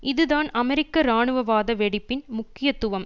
இது தான் அமெரிக்க இராணுவவாத வெடிப்பின் முக்கியத்துவம்